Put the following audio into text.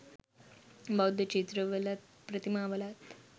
බෞද්ධ චිත්‍රවලත් ප්‍රතිමා වලත්